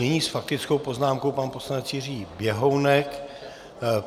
Nyní s faktickou poznámkou pan poslanec Jiří Běhounek.